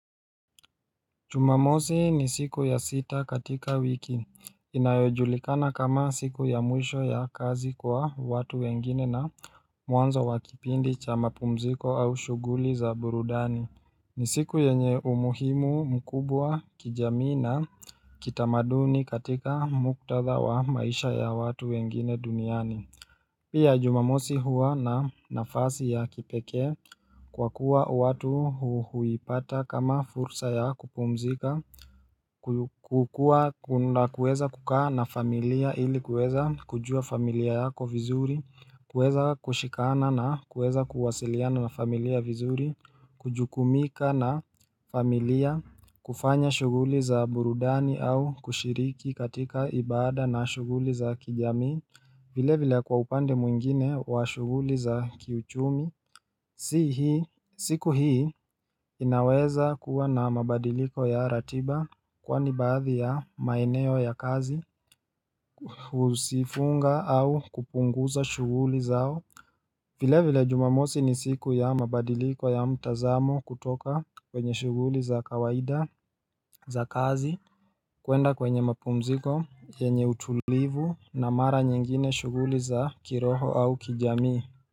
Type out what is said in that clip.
Jumamosi ni siku ya sita katika wiki. Inayojulikana kama siku ya mwisho ya kazi kwa watu wengine na mwanzo wa kipindi cha mapumziko au shuguli za burudani. Ni siku yenye umuhimu mkubwa kijamii na kitamaduni katika muktadha wa maisha ya watu wengine duniani. Pia jumamosi huwa na nafasi ya kipekeekwa kuwa watu huipata kama fursa ya kupumzika kukua na kueza kukaa na familia ili kuweza kujua familia yako vizuri kuweza kushikana na kuweza kuwasiliana na familia vizuri Kujukumika na familia kufanya shuguli za burudani au kushiriki katika ibada na shuguli za kijamii vile vile kwa upande mwingine wa shuguli za kiuchumi siku hii inaweza kuwa na mabadiliko ya ratiba Kwani baadhi ya maeneo ya kazi huzifunga au kupunguza shuguli zao vile vile jumamosi ni siku ya mabadiliko ya mtazamo kutoka kwenye shuguli za kawaida za kazi kuenda kwenye mapumziko, yenye utulivu na mara nyingine shuguli za kiroho au kijamii.